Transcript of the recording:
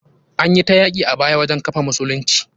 Anyi ta yaki a baya wajen kafa musulunci.